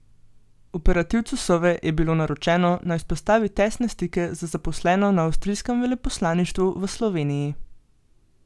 Operativcu Sove je bilo naročeno, naj vzpostavi tesne stike z zaposleno na avstrijskem veleposlaništvu v Sloveniji.